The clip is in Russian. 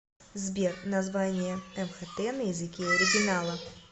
сбер название мхт на языке оригинала